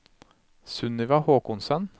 Sunniva Håkonsen